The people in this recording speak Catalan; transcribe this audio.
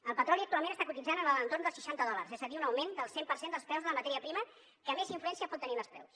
el petroli actualment està cotitzant en l’entorn dels seixanta dòlars és a dir un augment del cent per cent dels preus de la matèria primera que més influència pot tenir en els preus